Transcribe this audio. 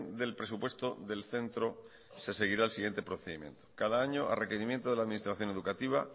del presupuesto del centro se seguirá el siguiente procedimiento cada año a requerimiento de la administración educativa